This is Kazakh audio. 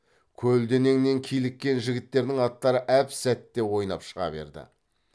көлденеңнен киліккен жігіттердің аттары әп сәтте ойнап шыға берді